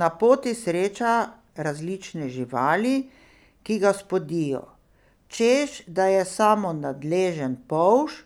Na poti sreča različne živali, ki ga spodijo, češ da je samo nadležen polž,